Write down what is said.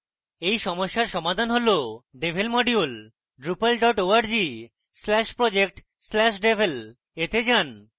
এই সমস্যার সমাধান হল devel module drupal org/project/devel এ যান